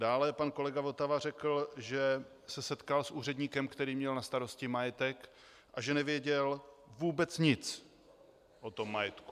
Dále pan kolega Votava řekl, že se setkal s úředníkem, který měl na starosti majetek, a že nevěděl vůbec nic o tom majetku.